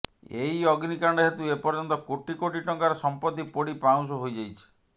ଏହି ଅଗ୍ନିକାଣ୍ଡ ହେତୁ ଏପର୍ଯ୍ୟନ୍ତ କୋଟିକୋଟି ଟଙ୍କାର ସମ୍ପତ୍ତି ପୋଡ଼ି ପାଉଁଶ ହୋଇଯାଇଛି